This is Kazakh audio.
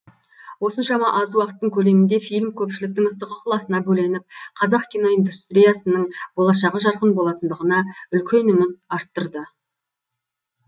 осыншама аз уақыттың көлемінде фильм көпшіліктің ыстық ықыласына бөленіп қазақ киноиндустриясының болашағы жарқын болатындығына үлкен үміт арттырды